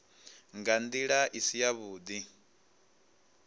nga ndila i si yavhudi